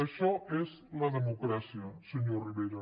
això és la democràcia senyor rivera